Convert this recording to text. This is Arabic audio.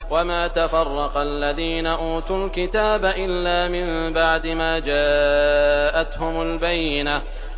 وَمَا تَفَرَّقَ الَّذِينَ أُوتُوا الْكِتَابَ إِلَّا مِن بَعْدِ مَا جَاءَتْهُمُ الْبَيِّنَةُ